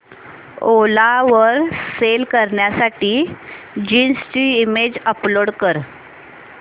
ओला वर सेल करण्यासाठी जीन्स ची इमेज अपलोड कर